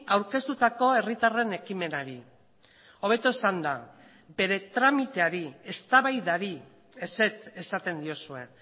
aurkeztutako herritarren ekimenari hobeto esanda bere tramiteari eztabaidari ezetz esaten diozue